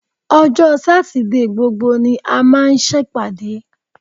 Ọjọ́ Sátidé gbogbo ni a máa ń ṣèpàdé